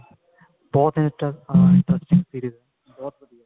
ਬਹੁਤ interesting series ਹੈ ਬਹੁਤ ਵਧੀਆ